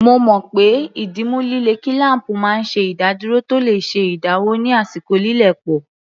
Mo mọ̀ pé ìdìmú líle kílám̀pù máa ń ṣe ìdádúró tó le ṣe ìdáwọ́ ní àsìkò lílẹ̀ pọ̀